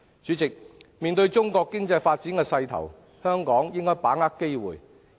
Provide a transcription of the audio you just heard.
主席，面對中國經濟發展的勢頭，香港應該把握機會。